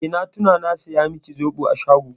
Eh, na tuna na saya miki zoɓo a shago.